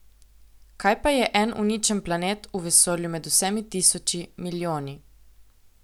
Kaj pa je en uničen planet v vesolju med vsemi tisoči, milijoni?